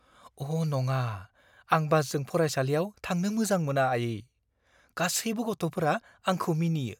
अ' नङा! आं बासजों फरायसालियाव थांनो मोजां मोना, आइयै। गासैबो गथ'फोरा आंखौ मिनियो!